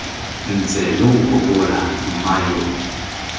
ntse lo nkgopola mma yo